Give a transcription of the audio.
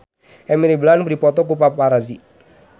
Emily Blunt dipoto ku paparazi